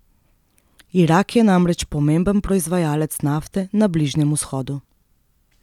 Irak je namreč pomemben proizvajalec nafte na Bližnjem vzhodu.